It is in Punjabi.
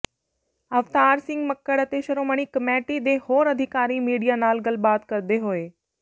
ਅਵਤਾਰ ਸਿੰਘ ਮੱਕੜ ਅਤੇ ਸ਼੍ਰੋਮਣੀ ਕਮੇਟੀ ਦੇ ਹੋਰ ਅਧਿਕਾਰੀ ਮੀਡੀਆ ਨਾਲ ਗੱਲਬਾਤ ਕਰਦੇ ਹੋਏ